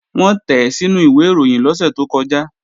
Wọ́n tẹ̀ẹ́ sínú ìwẹ̀ ìròyìn lọ́sẹ̀ tó kọjá